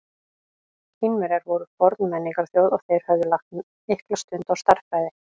Kínverjar voru forn menningarþjóð og þeir höfðu lagt mikla stund á stærðfræði.